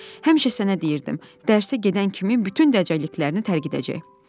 Həmişə sənə deyirdim, dərsə gedən kimi bütün dəcəlliklərini tərk edəcək."